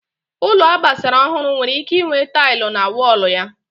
Ụlọ agbara ọhụrụ nwere ike inwe tailụ na wọlụ ya